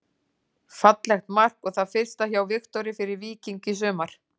Fallegt mark og það fyrsta hjá Viktori fyrir Víking í sumar.